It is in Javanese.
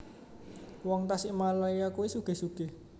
Wong Tasikmalaya kui sugih sugih